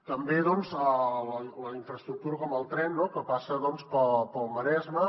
també doncs la infraestructura com el tren que passa pel maresme